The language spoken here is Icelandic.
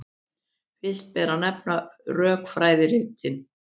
Fyrst ber að nefna rökfræðiritin.